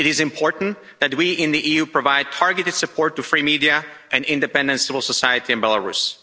It is important that we in the EU provide targeted support to free media and independent civil society in Belarus.